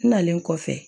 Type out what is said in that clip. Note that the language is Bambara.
N nalen kɔfɛ